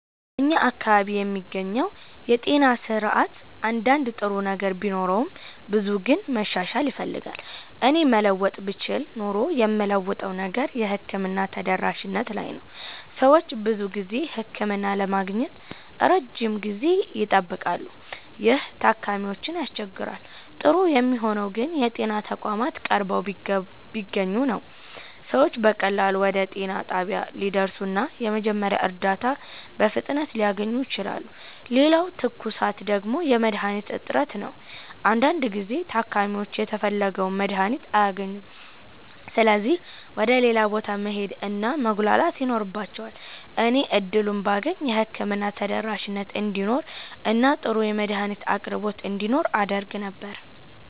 በእኛ አካባቢ የሚገኘው የጤና ስርዓት አንዳንድ ጥሩ ነገር ቢኖረውም ብዙው ግን መሻሻል ይፈልጋል። እኔ መለወጥ ብችል ኖሮ የምለውጠው ነገር የሕክምና ተደራሽነት ላይ ነው። ሰዎች ብዙ ጊዜ ህክምና ለማግኘት ረጅም ጊዜ ይጠብቃሉ፣ ይህም ታካሚዎችን ያስቸግራል። ጥሩ የሚሆነው ግን የጤና ተቋማት ቀርበው ቢገኙ ነው። ሰዎች በቀላሉ ወደ ጤና ጣቢያ ሊደርሱ እና የመጀመሪያ እርዳታ በፍጥነት ሊያገኙ ይችላሉ። ሌላው ትኩሳት ደግሞ የመድሀኒት እጥረት ነው። አንዳንድ ጊዜ ታካሚዎች የተፈለገውን መድሀኒት አያገኙም ስለዚህ ወደ ሌላ ቦታ መሄድ እና መጉላላት ይኖርባቸዋል። እኔ እድሉን ባገኝ የህክምና ተደራሽነት እንዲኖር እና ጥሩ የመድሀኒት አቅርቦት እንዲኖር አደርግ ነበር።